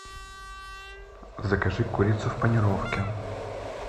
закажи курицу в панировке